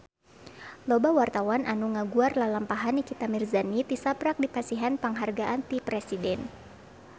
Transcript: Loba wartawan anu ngaguar lalampahan Nikita Mirzani tisaprak dipasihan panghargaan ti Presiden